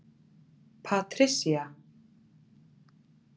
Patricia